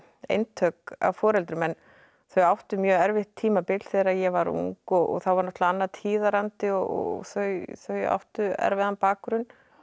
eintök af foreldrum en þau áttu mjög erfitt tímabil þegar ég var ung og þá var náttúrulega annar tíðarandi og þau þau áttu erfiðan bakgrunn